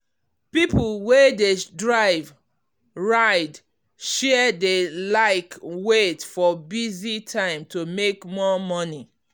people wey dey drive ride-share dey like wait for busy time to make more money.